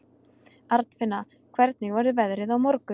Arnfinna, hvernig verður veðrið á morgun?